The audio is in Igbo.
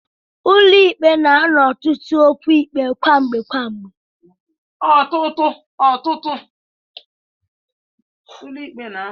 Ụlọ ikpe na-anọ ọtụtụ okwu ikpe gwamgbe gwamgbe.